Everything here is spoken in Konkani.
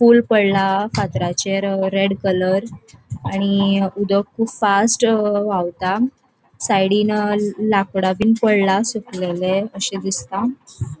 फुल पडला फातराचेर रेड कलर आणि उदक कुब फास्ट व्हावता साइडीन लाकड़ाबिन पडला सुकलेले अशे दिसता.